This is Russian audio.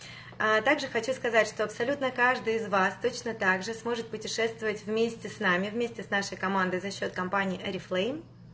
аа также хочу сказать что абсолютно каждый из вас точно также сможет путешествовать вместе с нами вместе с нашей командой за счёт компании орифлейм